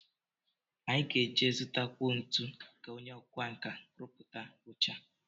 Anyị ga-eje zụtakwuo ntu ka onye ọkwánka rụpụchaa oche a